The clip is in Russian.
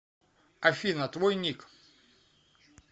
афина твой ник